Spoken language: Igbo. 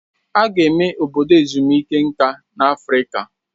Aga eme Obodo ezumike nka na Afrịka